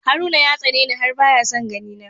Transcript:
Haruna ya tsani ni har baya son ganina.